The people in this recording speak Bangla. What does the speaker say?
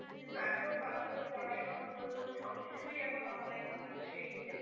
কিন্তু এখন বাচ্চাদের পড়াশোনা বলুন সবকিছুই এখন online হয়তো সেই